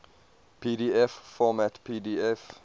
pdf format pdf